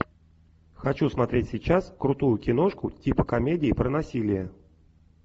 хочу смотреть сейчас крутую киношку типа комедии про насилие